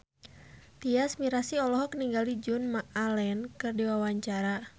Tyas Mirasih olohok ningali Joan Allen keur diwawancara